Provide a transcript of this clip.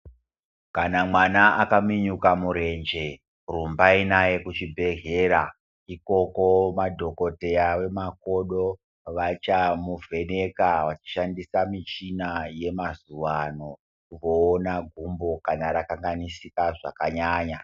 Kana mwana akaminyuka murenje, rumbai naye kuchibhedhlera. Ikoko madhokoteya vemakodo vachamuvheneka vachishandisa michina yemazuwano kuona gumbo kana rakanganisika zvakanyanya.